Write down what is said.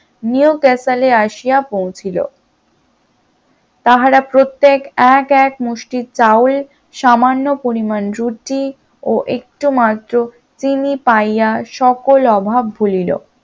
new কাসালে আসিয়া পৌঁছিল, তাহারা প্রত্যেকে এক মুষ্টি চাউল সামান্য পরিমাণ রুটি ও একটু মাত্র চিনি পাইয়া সকল অভাব ভুলিল